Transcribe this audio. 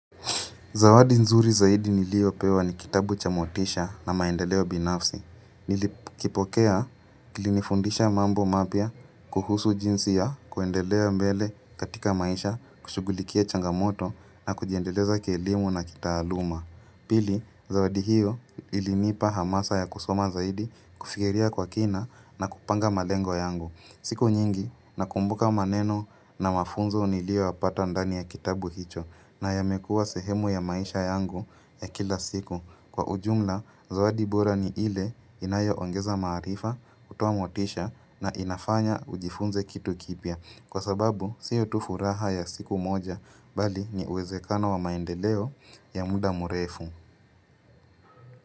Zawadi nzuri zaidi niliopewa ni kitabu cha motisha na maendeleo binafsi. Nilikipokea kilinifundisha mambo mapya kuhusu jinsi ya kuendelea mbele katika maisha, kushugulikia changamoto na kujiendeleza kielimu na kitaaluma. Pili, zawadi hiyo ilinipa hamasa ya kusoma zaidi kufigiria kwa kina na kupanga malengo yangu. Siku nyingi nakumbuka maneno na mafunzo nilioyapata ndani ya kitabu hicho na yamekua sehemu ya maisha yangu ya kila siku Kwa ujumla, zawadi bora ni ile inayoongeza maarifa, hutoa motisha na inafanya ujifunze kitu kipya Kwa sababu, sio tu furaha ya siku moja, bali ni uwezekano wa maendeleo ya muda murefu.